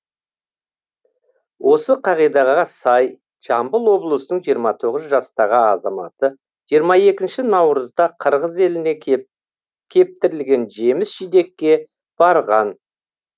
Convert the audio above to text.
осы қағидаға сай жамбыл облысының жиырма тоғыз жастағы азаматы жиырма екінші наурызда қырғыз еліне кептірілген жеміс жидекке барған